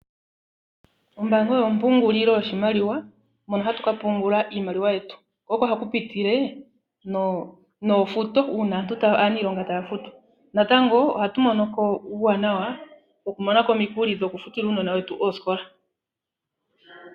Ombaanga oyo ompungulilo yoshimaliwa, mono hatu ka pungula iimaliwa yetu. Ko oko haku pitile noofuto uuna aaniilonga taya futwa. Natango ohatu monoko uuwanawa woku monako omikuli dhokufutila uunona wetu oosikola.